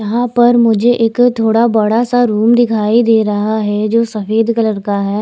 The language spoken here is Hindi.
यहा पर मुझे एक थोडा बड़ा सा रूम दिखाई देरा हे जो सफ़ेद कलर का हैं।